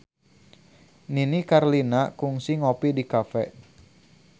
Nini Carlina kungsi ngopi di cafe